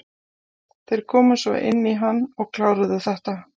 Þeir komu svo inn í hann og kláruðu þetta.